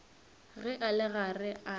ge a le gare a